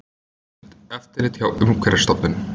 Hert eftirlit hjá Umhverfisstofnun